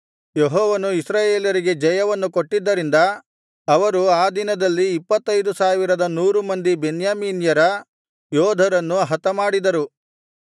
ಯೆಹೋವನು ಇಸ್ರಾಯೇಲರಿಗೆ ಜಯವನ್ನು ಕೊಟ್ಟಿದ್ದರಿಂದ ಅವರು ಆ ದಿನದಲ್ಲಿ ಇಪ್ಪತ್ತೈದು ಸಾವಿರದ ನೂರು ಮಂದಿ ಬೆನ್ಯಾಮೀನ್ಯರ ಯೋಧರನ್ನು ಹತಮಾಡಿದರು